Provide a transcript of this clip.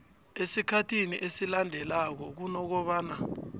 esikhathini esilandelanako kunokobana